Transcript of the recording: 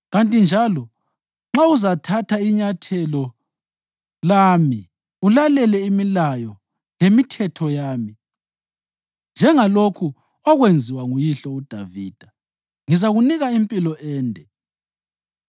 Kanti njalo nxa uzathatha inyathelo lami ulalele imilayo lemithetho yami njengalokhu okwenziwa nguyihlo uDavida, ngizakunika impilo ende.”